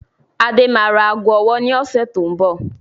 Adé máa ra aago ọwọ́ ni ọ̀sẹ̀ tó ń bọ̀